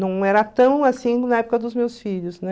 Não era tão assim na época dos meus filhos, né?